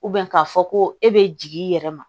k'a fɔ ko e bɛ jigin i yɛrɛ ma